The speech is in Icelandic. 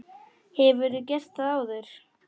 Hefurðu gert það áður?